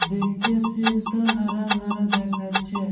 দেখতে সিন্ - টা হারা ভরা দেখাচ্ছে ।